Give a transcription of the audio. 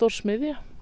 smiðja